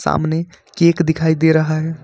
सामने केक दिखाई दे रहा है।